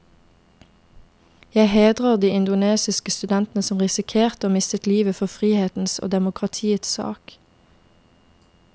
Jeg hedrer de indonesiske studentene som risikerte og mistet livet for frihetens og demokratiets sak.